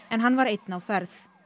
en hann var einn á ferð